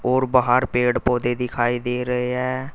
और बाहर पेड़ पौधे दिखाई दे रहे हैं।